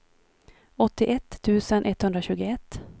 åttioett tusen etthundratjugoett